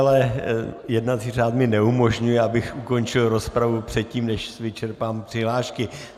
Ale jednací řád mi neumožňuje, abych ukončil rozpravu předtím, než vyčerpám přihlášky.